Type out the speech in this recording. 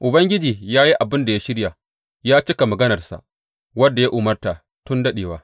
Ubangiji ya yi abin da ya shirya; ya cika maganarsa, wadda ya umarta tun daɗewa.